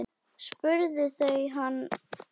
spurðu þau hann.